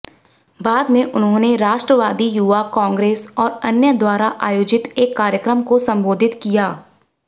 बाद में उन्होंने राष्ट्रवादी युवा कांग्रेस और अन्य द्वारा आयोजित एक कार्यक्रम को संबोधित किया